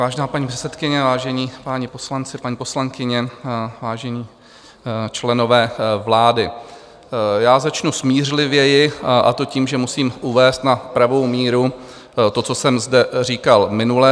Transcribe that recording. Vážená paní poslankyně, vážení páni poslanci, paní poslankyně, vážení členové vlády, já začnu smířlivěji, a to tím, že musím uvést na pravou míru to, co jsem zde říkal minule.